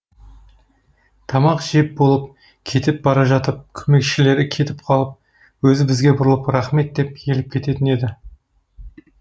тамақ жеп болып кетіп бара жатып көмекшілері кетіп қалып өзі бізге бұрылып рахмет деп иіліп кететін еді